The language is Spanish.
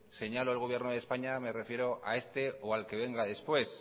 señalo al gobierno de españa me refiero a este o al que venga después